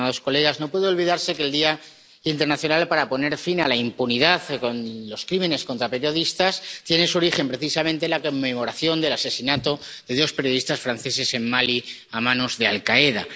Señora presidenta, estimados colegas, no puede olvidarse que el Día Internacional para Poner Fin a la Impunidad de los Crímenes contra Periodistas tiene su origen precisamente en la conmemoración del asesinato de dos periodistas franceses en Mali a manos de Al Qaeda.